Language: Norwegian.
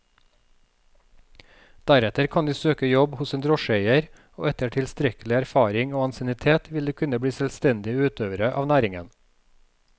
Deretter kan de søke jobb hos en drosjeeier, og etter tilstrekkelig erfaring og ansiennitet vil de kunne bli selvstendige utøvere av næringen.